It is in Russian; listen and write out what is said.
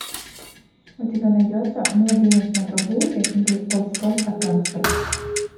у тебя найдется младенец на прогулке или ползком от гангстеров